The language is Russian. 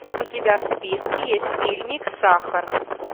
у тебя в списке есть фильмик сахар